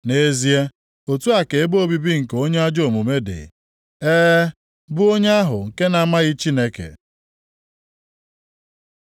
Nʼezie, otu a ka ebe obibi nke onye ajọ omume dị, ee, bụ onye ahụ nke na-amaghị Chineke.”